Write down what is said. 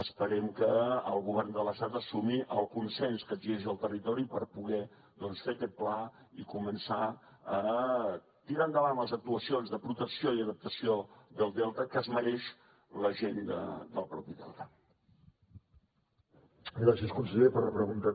esperem que el govern de l’estat assumeixi el consens que exigeix el territori per poder doncs fer aquest pla i començar a tirar endavant les actuacions de protecció i adaptació del delta que es mereix la gent del mateix delta